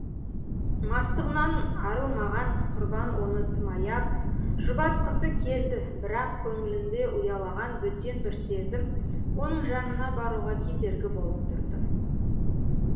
мастығынан арылмаған құрбан оны тым аяп жұбатқысы келді бірақ көңілінде ұялаған бөтен бір сезім оның жанына баруға кедергі болып тұрды